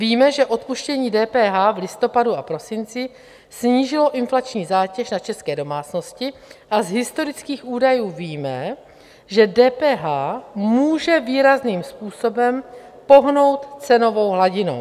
Víme, že odpuštění DPH v listopadu a prosinci snížilo inflační zátěž na české domácnosti, a z historický údajů víme, že DPH může výrazným způsobem pohnout cenovou hladinou.